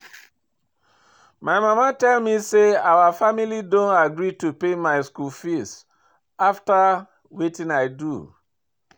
My mama tell me say our family don agree to pay my school fees after wetin I do